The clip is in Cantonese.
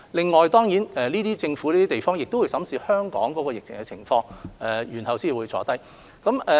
此外，當然這些其他地方的政府也會審視香港疫情的情況，然後才會坐下商討。